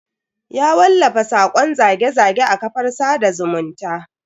Ya wallafa sakon zage-zage a kafar sada zumunta.